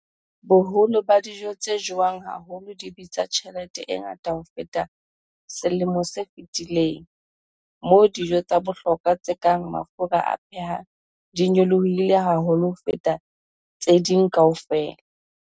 Boholo ba dijo tse jewang haholo di bitsa tjhelete e ngata ho feta selemo se fetileng, moo dijo tsa bohlokwa tse kang mafura a phehang di nyolohileng haholo ho feta tse ding kaofela.